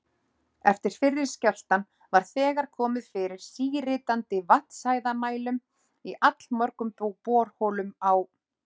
Eftir fyrri skjálftann var þegar komið fyrir síritandi vatnshæðarmælum í allmörgum borholum á